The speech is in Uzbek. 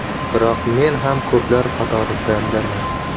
Biroq men ham ko‘plar qatori bandaman.